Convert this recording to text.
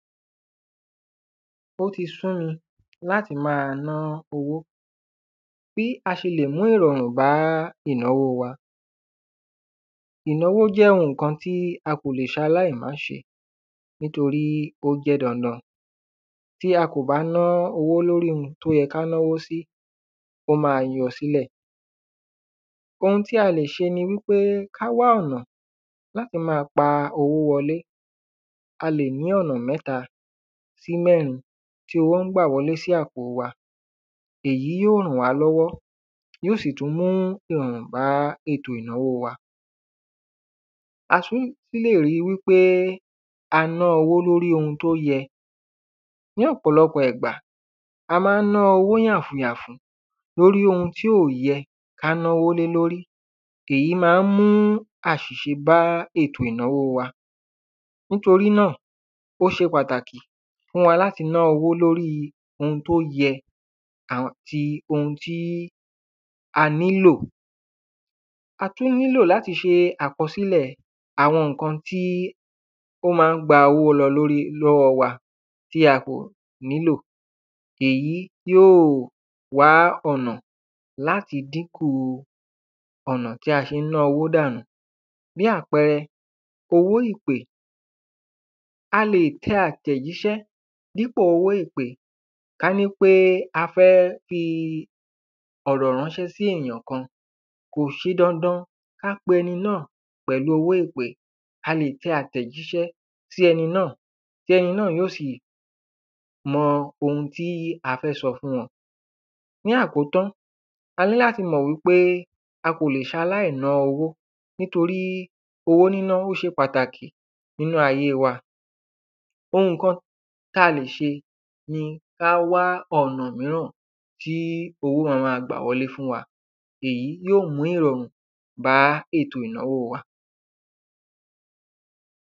Ó ti sú mi, láti ma ná owó, bí a ṣẹlẹ̀ mú ìrọ̀rùn bá ìnáwó wa. Ìnáwó jẹ́ oun ǹkan tí a kò lè sẹ aláìmásẹ, nítorí ó jẹ́ dandan, tí a kò bá ná owó lórí oun tó yẹ ká náwó sí, ó ma yọ sílẹ̀. Oun tí a lè ṣe ni wípé ká wá ọ̀nà láti ma pa owó wọlé, a lè ní ọ̀nà mẹ́tà sí mẹ́rin tí owó ń bà wọlé sí àpò wa. Ẹ̀yí ó ràn wá lọ́wọ́, yóò sì tún mú ìrọ̀rùn bá ètò ìnáwó wa. A tún lè rí wípé a ná owó lóri oun tó yẹ. Ní ọ̀pọ̀lọpọ̀ ìgbà, a ma ń ná owó yàfùn yàfùn yàfùn lórí oun tí ò yẹ ká náwó lé lórí, èyí ma ń mú àṣìṣe bá ètò ìnáwó wa. Nítorí náà, ó ṣe pàtàkì fún wa láti ná owó lóri oun tí ó yẹ àti oun tí a ní lò. A tún nílò láti ṣe àkọsílè àwọn ǹkan tí ó ma ń gba owó lọ lọ́wọ́ wa, tí a kò nílò, èyí yóò wá ọ̀nà láti dínkùu ọ̀nà tí a ṣe ń ná owó dànù. Bí àpẹrẹ owó ìpè, a lè tẹ àtẹ̀jísẹ́, dípò owó ìpè, ká ní pé a fẹ́ fi ọ̀rọ̀ ránṣẹ́ sí èyàn kan kò ṣe dandan ká pe ẹni náà, pẹ̀lú owó ìpè, a lè tẹ àtẹ̀jísẹ́ sí ẹni náà, tí ẹni náà yó sì mọ oun tí a fẹ́ sọ fún wọn. Ní àkótán, a ní láti mọ̀ wípé a kò le ṣe aláìná owó, nítorí owó ní ná, ó ṣe pàtàkì nínú ayé wa. Oun kan, tí a lè ṣe ni ká wà onà míràn tí owó máa gbà wọlé fún wa, èyí yóò mú ìrọ̀rùn bá ètò ìnáwó wa.